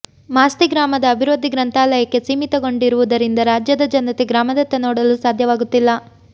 ಮಾಸ್ತಿ ಗ್ರಾಮದ ಅಭಿವೃದ್ಧಿ ಗ್ರಂಥಾಲಯಕ್ಕೆ ಸೀಮಿತಗೊಂಡಿರುವುದರಿಂದ ರಾಜ್ಯದ ಜನತೆ ಗ್ರಾಮದತ್ತ ನೋಡಲು ಸಾಧ್ಯವಾಗುತ್ತಿಲ್ಲ